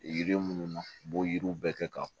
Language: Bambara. Yiri minnu u b'o yiriw bɛɛ kɛ ka